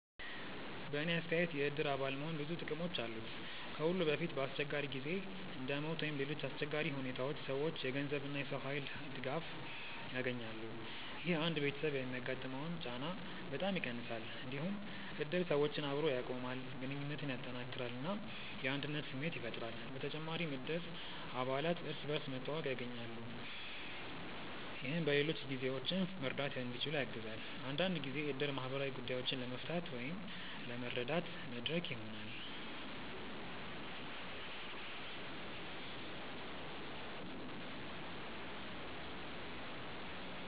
በእኔ አስተያየት የእድር አባል መሆን ብዙ ጥቅሞች አሉት። ከሁሉ በፊት በአስቸጋሪ ጊዜ እንደ ሞት ወይም ሌሎች አሰቸጋሪ ሁኔታዎች ሰዎች የገንዘብ እና የሰው ኃይል ድጋፍ ያገኛሉ። ይህ አንድ ቤተሰብ የሚያጋጥመውን ጫና በጣም ይቀንሳል። እንዲሁም እድር ሰዎችን አብሮ ያቆማል፣ ግንኙነትን ያጠናክራል እና የአንድነት ስሜት ያፈጥራል። በተጨማሪም እድር አባላት እርስ በርስ መተዋወቅ ያገኛሉ፣ ይህም በሌሎች ጊዜዎችም መርዳት እንዲችሉ ያግዛል። አንዳንድ ጊዜ እድር ማህበራዊ ጉዳዮችን ለመፍታት ወይም ለመረዳት መድረክ ይሆናል።